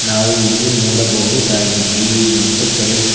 ನಾವು ಇಲ್ಲಿ ನೋಡಬಹುದಾಗಿದೆ ಮತ್ತು ಕರೇ--